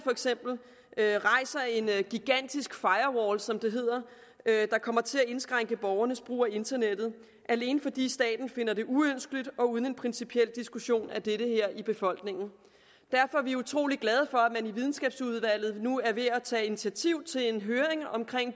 rejser en gigantisk firewall som det hedder der kommer til at indskrænke borgernes brug af internettet alene fordi staten finder det uønskeligt og uden at en principiel diskussion af dette i befolkningen derfor er vi utrolig glade for at i videnskabsudvalget nu er ved at tage initiativ til en høring om